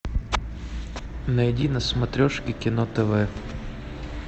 найди на смотрешке кино тв